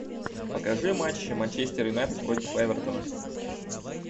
покажи матч манчестер юнайтед против эвертона